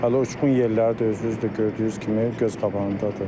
Hələ uçqun yerləri də özünüz də gördüyünüz kimi göz qabağındadır.